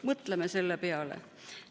Mõtleme selle peale.